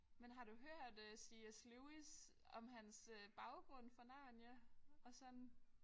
Men har du hørt øh C S Lewis om hans øh baggrund for Narnia og sådan?